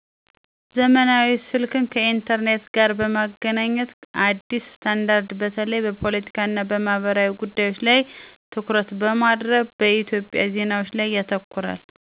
ዘመናዊ ስልክን ከ ኢንተርኔት ጋር በ ማገናኘት አዲስ ስታንዳርድ - በተለይ በፖለቲካ እና በማህበራዊ ጉዳዮች ላይ ትኩረት በማድረግ በኢትዮጵያ ዜናዎች ላይ ያተኩራል።